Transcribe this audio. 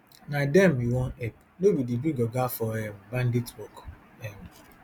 na dem we wan help no be di big oga for um bandit work um